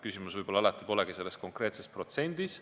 Küsimus polegi võib-olla alati konkreetses protsendis.